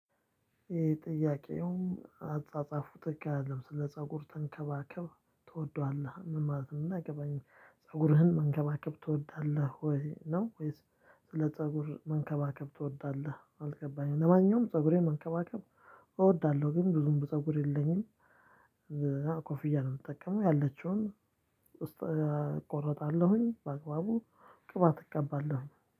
ይሄ ጥያቄ አፃፃፉ ትክክል አይደለም። 'ስለ ፀጉር ተንከባከብ ትወደዋለህ' ምን ማለት ነው? እንደሆነ አልገባኝም። 'ፀጉርህን መንከባከብ ትወዳለህ ወይ' ነው? ወይስ 'ስለ ፀጉር መንከባከብ ትወዳለህ' አልገባኝም። ለማንኛውም ፀጉሬን መንከባከብ እወዳለሁ ግን ብዙም ፀጉር የለኝም። ኮፍያ ነው የምጠቀመው ያለችውን እቆረጣለሁኝ፤ በአግባቡ ቅባት እቀባለሁ።